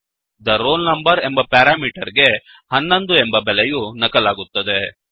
the roll number ಎಂಬ parameter ಗೆ 11 ಎಂಬ ಬೆಲೆಯು ನಕಲಾಗುತ್ತದೆ